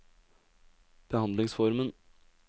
behandlingsformen